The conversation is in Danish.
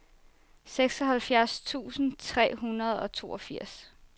seksoghalvfjerds tusind tre hundrede og toogfirs